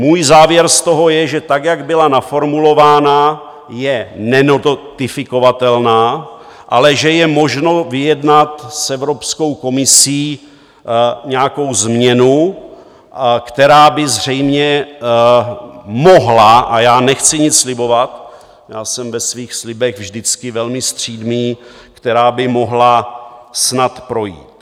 Můj závěr z toho je, že tak, jak byla naformulována, je nenotifikovatelná, ale že je možno vyjednat s Evropskou komisí nějakou změnu, která by zřejmě mohla - a já nechci nic slibovat, já jsem ve svých slibech vždycky velmi střídmý - která by mohla snad projít.